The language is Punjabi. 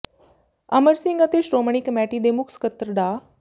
ਅਮਰ ਸਿੰਘ ਅਤੇ ਸ਼੍ਰੋਮਣੀ ਕਮੇਟੀ ਦੇ ਮੁੱਖ ਸਕੱਤਰ ਡਾ